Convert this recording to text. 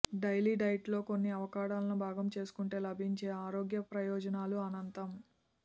daily డైట్లో కొన్ని అవకాడోలను భాగం చేసుకుంటే లభించే ఆరోగ్య ప్రయోజనాలు అనంతం